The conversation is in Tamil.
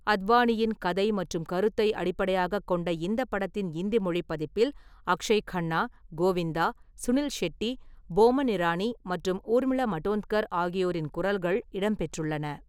அத்வானியின் கதை மற்றும் கருத்தை அடிப்படையாகக் கொண்ட இந்த படத்தின் இந்தி மொழி பதிப்பில் அக்ஷய் கன்னா, கோவிந்தா, சுனில் ஷெட்டி, போமன் இரானி மற்றும் ஊர்மிளா மடோண்ட்கர் ஆகியோரின் குரல்கள் இடம்பெற்றுள்ளன.